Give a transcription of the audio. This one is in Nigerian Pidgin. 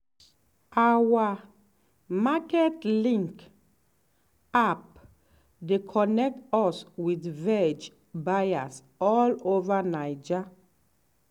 our market link app dey connect us with veg buyers all over naija.